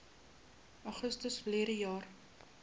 augustus verlede jaar